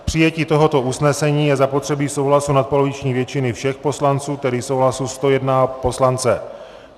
K přijetí tohoto usnesení je zapotřebí souhlasu nadpoloviční většiny všech poslanců, tedy souhlasu 101 poslance.